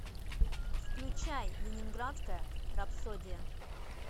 включай ленинградская рапсодия